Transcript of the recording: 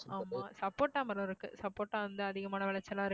ஆமா சப்போட்டா மரம் இருக்கு சப்போட்டா வந்து அதிகமான விளைச்சலா இருக்கு